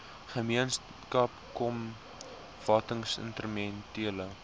gemeenskap kom watinstrumentele